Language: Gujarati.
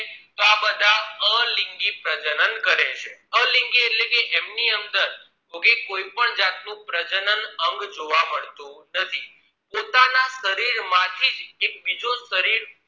તો આ બધા અલિંગી પ્રજનન કરે છે અલિંગી એટલે ક એમની અંદર કોઈપણ જાત પ્રજનન અંગ જોવા મળતું નથી પોતાના શરીર માંથી જ એક બીજો શરીર